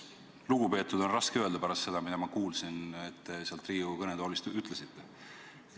"Lugupeetud" on raske öelda pärast seda, mida ma kuulsin, et te sealt Riigikogu kõnetoolist ütlesite.